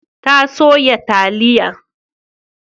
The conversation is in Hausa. Ta soya taliya.